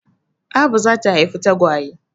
Abu za ta haifi tagwaye.